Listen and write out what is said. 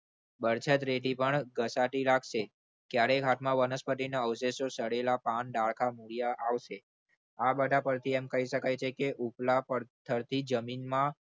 વરસાદ થી પણ ઘસાતી લાગશે ક્યારેક હાથમાં વનસ્પતિના બગડેલા અવશેષો મૂળિયા પણ આવશે આ બધા પરથી એમ કહી શકાય છે કે ઉપલા ની જમીનમાં